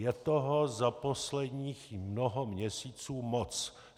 Je toho za posledních mnoho měsíců moc.